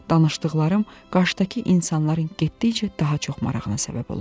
Danışdıqlarım qarşıdakı insanların getdikcə daha çox marağına səbəb olurdu.